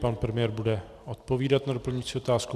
Pan premiér bude odpovídat na doplňující otázku.